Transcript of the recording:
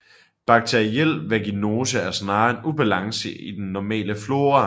Bakteriel vaginose er snarere en ubalance i den normale flora